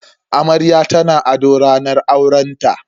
Amarya tana ado ranar aurenta.